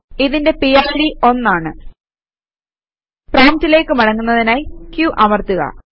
ഇതിന്റെ പിഡ് 1 ആണ് പ്രോംപ്റ്റിലേക്ക് മടങ്ങുന്നതിനായി q അമർത്തുക